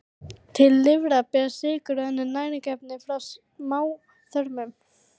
Til lifrar berast sykrur og önnur næringarefni frá smáþörmum.